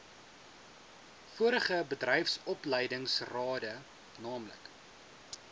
vorige bedryfsopleidingsrade naamlik